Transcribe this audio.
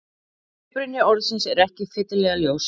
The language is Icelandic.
Uppruni orðsins er ekki fyllilega ljós.